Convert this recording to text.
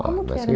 Como que era